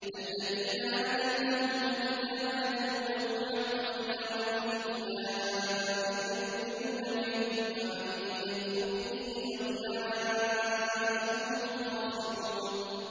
الَّذِينَ آتَيْنَاهُمُ الْكِتَابَ يَتْلُونَهُ حَقَّ تِلَاوَتِهِ أُولَٰئِكَ يُؤْمِنُونَ بِهِ ۗ وَمَن يَكْفُرْ بِهِ فَأُولَٰئِكَ هُمُ الْخَاسِرُونَ